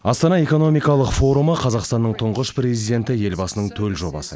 астана экономикалық форумы қазақстанның тұңғыш президенті елбасының төл жобасы